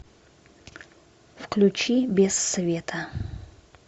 включи без света